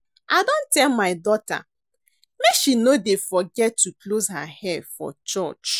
I don tell my daughter make she no dey forget to close her hair for church